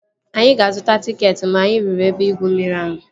Anyị aga azụta tịketị mgbe anyị ruru ebe igwu mmiri ahụ?